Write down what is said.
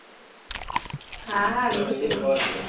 হ্যাঁ হ্যাঁ নিশ্চয় নিশ্চয়